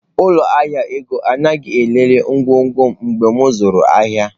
Ụlọ ahịa ego anaghị elele ngwongwo m mgbe m zụrụ ahịa.